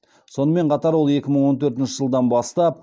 сонымен қатар ол екі мың он төртінші жылдан бастап